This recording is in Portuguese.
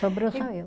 Sobrou só eu.